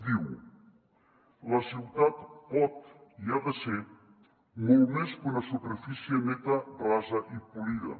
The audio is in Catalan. diu la ciutat pot i ha de ser molt més que una superfície neta rasa i polida